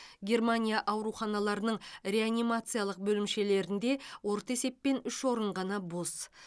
германия ауруханаларының реанимациялық бөлімшелерінде орта есеппен үш орын ғана бос